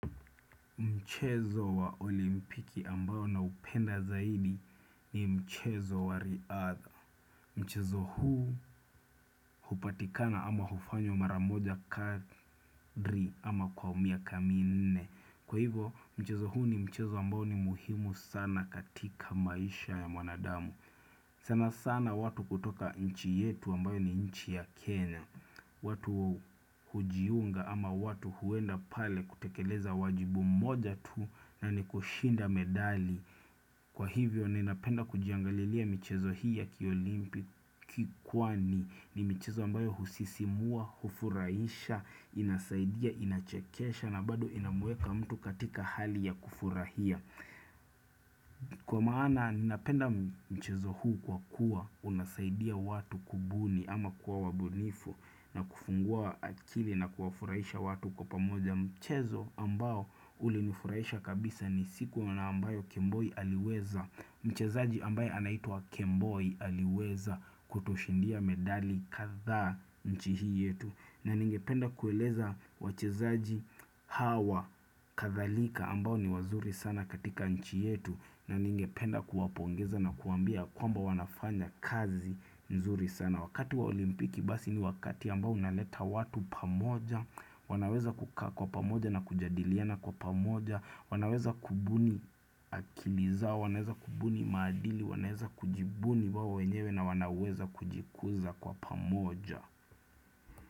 Mchezo wa olimpiki ambao na upenda zaidi ni mchezo wa riadha Mchezo huu hupatikana ama hufanywa mara moja kadri ama kwa miaka mi nne Kwa hivo mchezo huu ni mchezo ambao ni muhimu sana katika maisha ya mwanadamu sana sana watu kutoka nchi yetu ambayo ni nchi ya Kenya watu hujiunga ama watu huenda pale kutekeleza wajibu mmoja tu na ni kushinda medali Kwa hivyo ni napenda kujiangalilia michezo hii ya kiolimpiki kwani ni michezo ambayo husisimua, hufuraisha, inasaidia, inachekesha na bado inamueka mtu katika hali ya kufurahia Kwa maana ninapenda mchezo huu kwa kuwa unasaidia watu kubuni ama kuwa wabunifu na kufungua akili na kuwafurahisha watu kwa pamoja mchezo ambao ulinifurahisha kabisa ni siku na ambayo Kemboi aliweza Mchezaji ambaye anaitwa Kemboi aliweza kutushindia medali kadhaa nchi hii yetu. Na ningependa kueleza wachezaji hawa kadhalika ambao ni wazuri sana katika nchi yetu na ningependa kuwapongeza na kuwambia kwamba wanafanya kazi nzuri sana wakati wa olimpiki basi ni wakati ambao unaleta watu pamoja, wanaweza kukaa kwa pamoja na kujadiliana kwa pamoja, wanaweza kubuni akili zao, wanaweza kubuni maadili, wanaweza kujibuni wao wenyewe na wanaweza kujikuza kwa pamoja.